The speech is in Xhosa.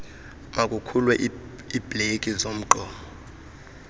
makukhululwe iibreki zomgqomo